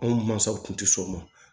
Anw mansaw tun tɛ sɔn o ma